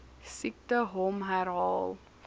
siekte hom herhaal